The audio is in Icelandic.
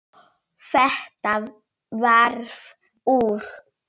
Og þetta varð úr.